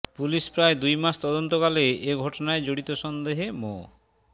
police প্রায় দুই মাস তদন্তকালে এ ঘটনায় জড়িত সন্দেহে মো